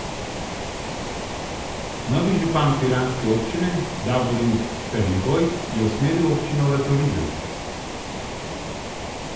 Novi župan piranske občine Davorin Ferligoj je usmeril občino v turizem.